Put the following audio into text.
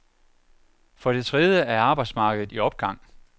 For det tredje er arbejdsmarkedet i opgang.